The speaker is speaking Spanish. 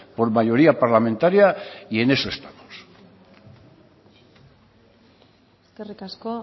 por mayoría parlamentaria y en eso estamos eskerrik asko